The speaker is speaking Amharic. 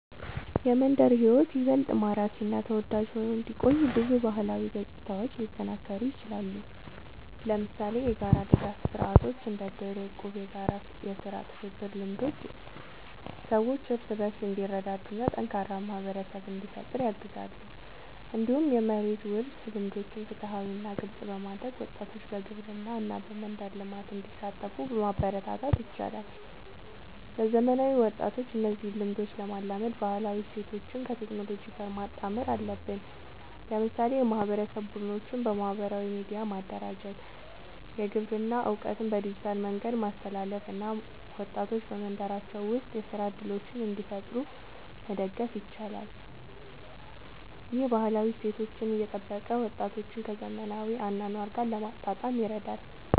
የመንደር ሕይወት ይበልጥ ማራኪ እና ተወዳጅ ሆኖ እንዲቆይ ብዙ ባህላዊ ገጽታዎች ሊጠናከሩ ይችላሉ። ለምሳሌ የጋራ ድጋፍ ስርዓቶች እንደ እድር፣ እቁብ እና የጋራ የሥራ ትብብር ልምዶች ሰዎች እርስ በርስ እንዲረዳዱ እና ጠንካራ ማህበረሰብ እንዲፈጠር ያግዛሉ። እንዲሁም የመሬት ውርስ ልምዶችን ፍትሃዊ እና ግልጽ በማድረግ ወጣቶች በግብርና እና በመንደር ልማት እንዲሳተፉ ማበረታታት ይቻላል። ለዘመናዊ ወጣቶች እነዚህን ልምዶች ለማላመድ ባህላዊ እሴቶችን ከቴክኖሎጂ ጋር ማጣመር አለብን። ለምሳሌ የማህበረሰብ ቡድኖችን በማህበራዊ ሚዲያ ማደራጀት፣ የግብርና እውቀትን በዲጂታል መንገድ ማስተላለፍ እና ወጣቶች በመንደራቸው ውስጥ የሥራ እድሎችን እንዲፈጥሩ መደገፍ ይቻላል። ይህ ባህላዊ እሴቶችን እየጠበቀ ወጣቶችን ከዘመናዊ አኗኗር ጋር ለማጣጣም ይረዳል።